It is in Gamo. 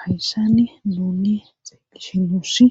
hayssani nuuni xeellishin nuussi